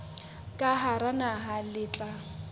ka hara naha le tla